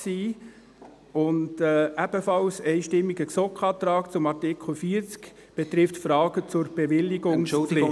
Ein ebenfalls einstimmiger GSoK-Antrag zu Artikel 40 betrifft Fragen der Bewilligungspflicht.